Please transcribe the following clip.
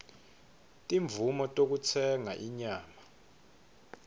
timvumo tekutsenga inyama